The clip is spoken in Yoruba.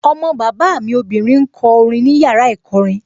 Ọmọ bàbá mi obìnrin ń kọ orin ní yàrá ìkọrin